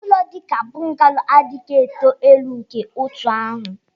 ụlọ dị ka bungalow adịghị eto elu nke otu ahụ